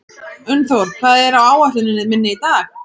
Unnþór, hvað er á áætluninni minni í dag?